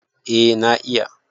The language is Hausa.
eh na iya